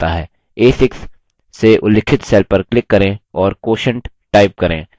a6 से उल्लिखित cell पर click करें और quotient type करें